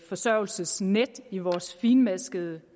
forsørgelsesnet i vores fintmaskede